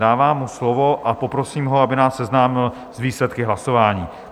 Dávám mu slovo a poprosím ho, aby nás seznámil s výsledky hlasování.